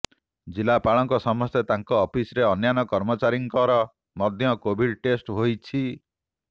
ଜିଲ୍ଲାପାଳଙ୍କ ସମେତ ତାଙ୍କ ଅଫିସରେ ଅନ୍ୟାନ୍ୟ କର୍ମଚାରୀଙ୍କର ମଧ୍ୟ କୋଭିଡ ଚେଷ୍ଟ ହୋଇଛି